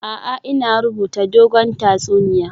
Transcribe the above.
A'a, ina rubuta dogon tatsuniya